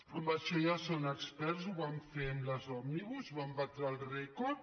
en això ja són experts ho van fer amb les òmnibus i van batre el rècord